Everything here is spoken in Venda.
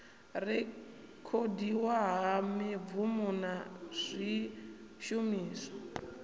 rekhodiwa ha mibvumo na zwishumiswa